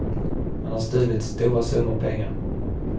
Han har stulit stora summor pengar.